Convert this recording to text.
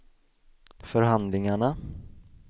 förhandlingarna